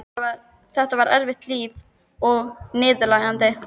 Þetta var erfitt líf og niðurlægjandi.